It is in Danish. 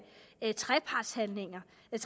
der